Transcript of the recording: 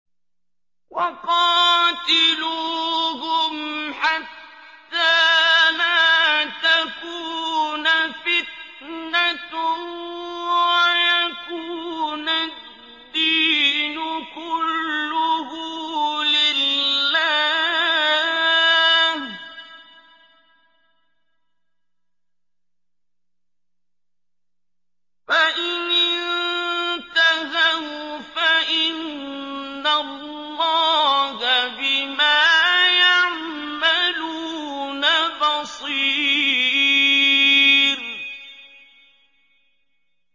وَقَاتِلُوهُمْ حَتَّىٰ لَا تَكُونَ فِتْنَةٌ وَيَكُونَ الدِّينُ كُلُّهُ لِلَّهِ ۚ فَإِنِ انتَهَوْا فَإِنَّ اللَّهَ بِمَا يَعْمَلُونَ بَصِيرٌ